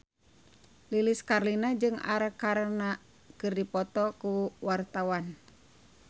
Lilis Karlina jeung Arkarna keur dipoto ku wartawan